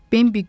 Bimbi güldü.